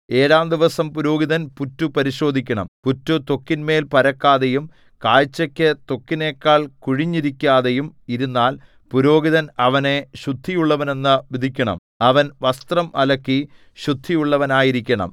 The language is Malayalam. ഏഴാം ദിവസം പുരോഹിതൻ പുറ്റു പരിശോധിക്കണം പുറ്റു ത്വക്കിന്മേൽ പരക്കാതെയും കാഴ്ചക്ക് ത്വക്കിനെക്കാൾ കുഴിഞ്ഞിരിക്കാതെയും ഇരുന്നാൽ പുരോഹിതൻ അവനെ ശുദ്ധിയുള്ളവനെന്നു വിധിക്കണം അവൻ വസ്ത്രം അലക്കി ശുദ്ധിയുള്ളവനായിരിക്കണം